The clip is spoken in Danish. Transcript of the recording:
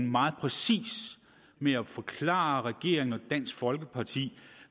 meget præcis med at forklare regeringen og dansk folkeparti